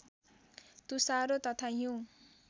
तुषारो तथा हिउँ